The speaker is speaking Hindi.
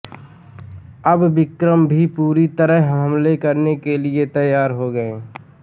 अब विक्रम भी पूरी तरह हमले के लिए तैयार हो गए